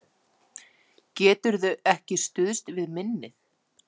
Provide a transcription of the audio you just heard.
Geturðu ekki stuðst við minnið?